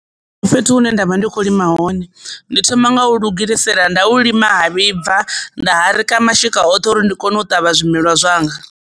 Ndi fhethu hune ndavha ndi kho lima hone ndi thoma nga u lugisela nda u lima ha vhibva nda rikha mashika oṱhe uri ndi kone u ṱavha zwimelwa zwanga.